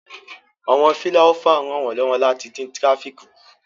Awọn filaiofa n ranwalọwọ lati din tirafíki ku